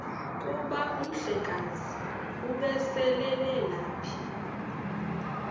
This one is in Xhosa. kuba umhlekazi ubeselelapha